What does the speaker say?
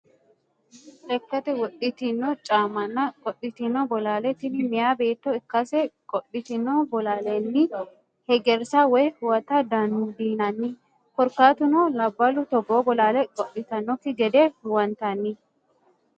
Lekkate wodhitino caamanna qodhitino bollalle, tini meya beeto ikkase qodhitino bolaalenni hegerisa woyi huwatta dandinanni korikatuno labalu togoo bollalle qodhitanokki gede huwantanni